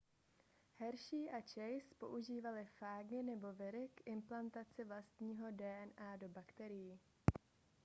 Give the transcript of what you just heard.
hershey a chase používali fágy nebo viry k implantaci vlastního dna do bakterií